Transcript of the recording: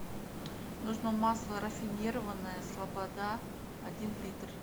нужно масло рафинированное слобода один литр